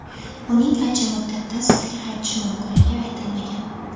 Uning qancha muddatda safga qaytishi mumkinligi aytilmagan.